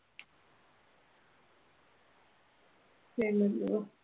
പിന്നെ എന്തുവാ?